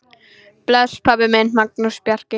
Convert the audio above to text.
Bless, pabbi minn, Magnús Bjarki.